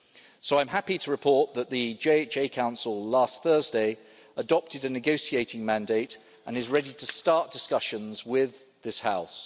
So I'm happy to report that the Justice and Home Affairs Council last Thursday adopted a negotiating mandate and is ready to start discussions with this House.